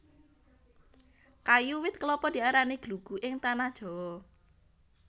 Kayu wit klapa diarani glugu ing Tanah Jawa